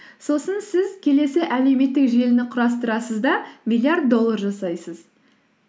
сосын сіз келесі әлеуметтік желіні құрастырасыз да миллиард доллар жасайсыз